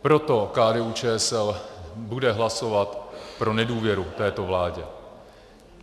Proto KDU-ČSL bude hlasovat pro nedůvěru této vládě.